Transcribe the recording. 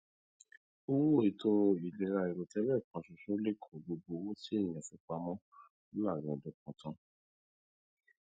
owó ètò ìlera àìròtẹlẹ kan ṣoṣo lè kó gbogbo owó tí ènìyàn fi pamọ láàrin ọdún kan tán